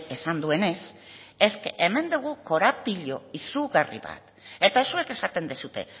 esan duenez hemen daukagu korapilo izugarri bat eta zuek esaten duzue